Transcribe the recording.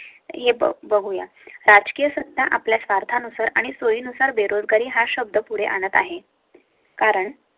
हे बघूया राजकीय सत्ता आपल्या स्वार्था नुसार आणि सोयी नुसार बेरोजगारी हा शब्द पुढे आणत आहे. कारण.